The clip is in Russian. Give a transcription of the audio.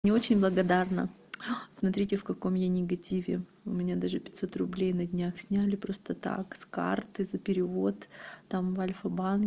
не очень благодарна смотрите в каком я негативе у меня даже пятьсот руб на днях сняли просто так с карты за перевод там в альфа банк